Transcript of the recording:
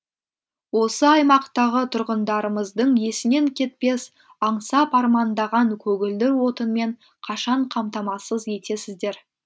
осы аймақтағы тұрғындарымыздың есінен кетпес аңсап армандаған көгілдір отынмен қашан қамтамасыз етесіздер